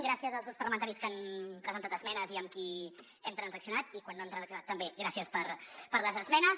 gràcies als grups parlamentaris que han presentat esmenes i amb qui hem transaccionat i quan no hem transaccionat també gràcies per les esmenes